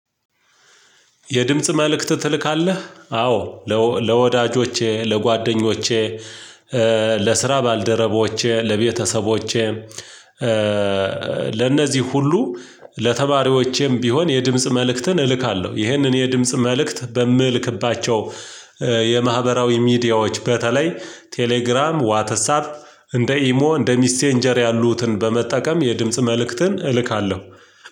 የድምጽ መልእክት ትልካለህ? አዎ ለወዳጆቼ ለጓደኞቼ ለስራ ባልደረቦቼ ለቤተሰቦቼ ለእነዚህ ሁሉ ለተማሪዎቼም ቢሆን የድምጽ መልእክትን እልካለሁ። ይሄን እኔ የድምጽ መልእክት በምልክባቸው የማህበራዊ ሚዲያዎች በተለይ ቴሌግራም ዋትስአፕ እንደ ኢሞ እንደ ሚሴንጀር ያሉትን በመጠቀም የድምጽ መልእክትን እልካለሁ።